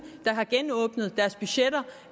der har genåbnet deres budgetter